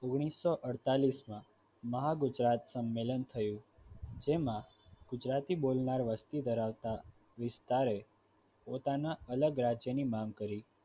ઓગણીસો અડતાલીસ માં મહાગુજરાત સંમેલન થયું જેમાં ગુજરાતી બોલતા વસ્તી ધરાવતા વિસ્તાર પોતાના અલગ રાજ્યની માંગ કરી હતી